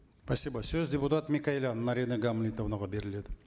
спасибо сөз депутат микаэлян наринэ гамлетовнаға беріледі